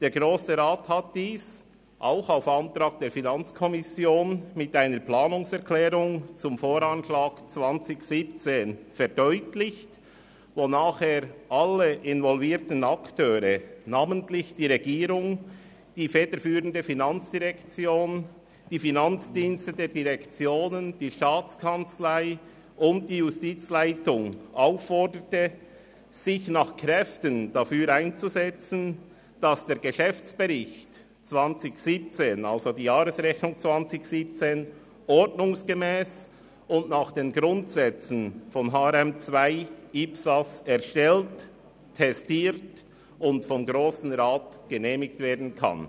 Der Grosse Rat hat dies auch auf Antrag der FiKo mit einer Planungserklärung zum Voranschlag 2017 verdeutlicht, wonach er alle involvierten Akteure, namentlich die Regierung, die federführende FIN und die Finanzdienste der Direktionen, der STA und der Justiz aufforderte, sich nach Kräften dafür einzusetzen, dass der Geschäftsbericht mit Jahresrechnung 2017 ordnungsgemäss und nach den Grundsätzen von HRM2 und International Public Sector Accounting Standards (IPSAS) erstellt, testiert und vom Grossen Rat genehmigt werden kann.